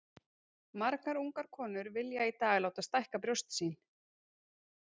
Margar ungar konur vilja í dag láta stækka brjóst sín.